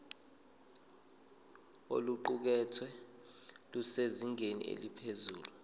oluqukethwe lusezingeni eliphezulu